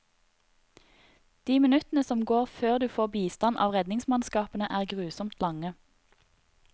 De minuttene som går før du får bistand av redningsmannskapene er grusomt lange.